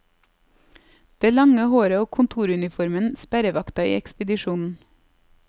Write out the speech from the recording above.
Det lange håret og kontoruniformen, sperrevakta i ekspedisjonen.